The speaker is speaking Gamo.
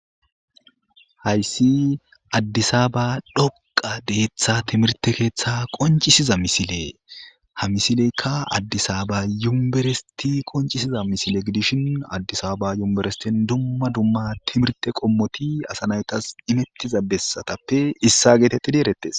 hayssi addisaba dhoqa deeththa timirte keeththe qoncisiza misile ha misileykka addisaaba yumberesti qoncisiza misile gidishin addisaba yumberestin dumma dumma timirte qommoti asanaytas imettiza bessatappe issa geetettidi erettes